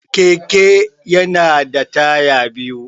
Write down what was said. Keke ya na da taya biyu